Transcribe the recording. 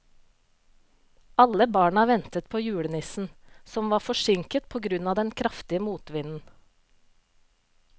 Alle barna ventet på julenissen, som var forsinket på grunn av den kraftige motvinden.